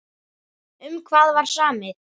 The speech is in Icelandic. Um hvað var samið?